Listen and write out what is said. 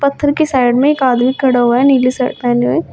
पत्थर के साइड में एक आदमी खड़ा हुआ है नीली शर्ट पहने हुए।